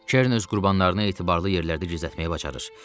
Kern öz qurbanlarını etibarlı yerlərdə gizlətməyi bacarır.